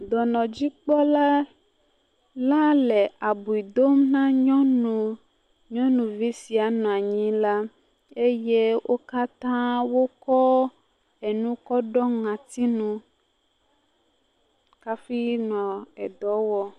Dɔnɔdzikpɔla la le abui dom na nyɔnuvi si nɔ anyi la eye wò katã wokɔ enu kɔ ɖɔ ŋɔti nu hafi nɔ edɔ wɔm.